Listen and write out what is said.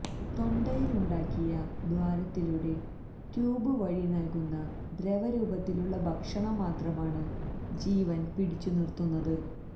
തൊണ്ടയിലുണ്ടാക്കിയ ദ്വാരത്തിലൂടെ ട്യൂബ് വഴി നൽകുന്ന ദ്രവരൂപത്തിലുള്ള ഭക്ഷണം മാത്രമാണ് ജീവൻ പിടിച്ചുനിർത്തുന്നത്